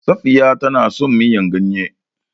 Safiya tana son miyar ganye.